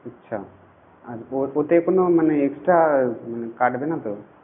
আচ্ছা আর কোন মানে extra কাটবে না তো